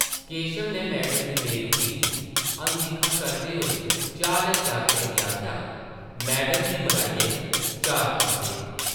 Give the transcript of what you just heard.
केशव नै मैडम दी बेरुखी गी अनदिक्खा करदे होई चाही आह्ले जागतै गी आखेआ, ‘‘मैडम दी मलाइयै चार कप्प दे ।’’